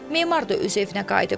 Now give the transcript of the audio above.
Memar da öz evinə qayıdıb.